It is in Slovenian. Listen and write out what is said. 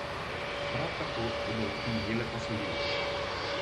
Prav tako bodo lahko najele posojilo.